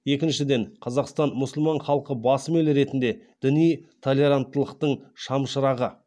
екіншіден қазақстан мұсылман халқы басым ел ретінде діни толеранттылықтың шамшырағы